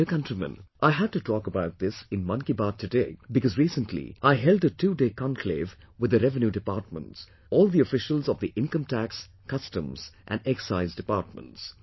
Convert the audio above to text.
My dear countrymen, I had to talk about this in Mann Ki Baat today because recently I held a twoday conclave with the Revenue Departments all the officials of the Income Tax, Customs and Excise Departments